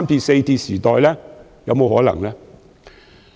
這是否有可能呢？